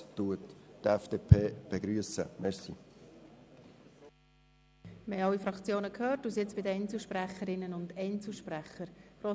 Wir haben alle Fraktionen gehört und kommen zu den Einzelsprecherinnen und Einzelsprechern.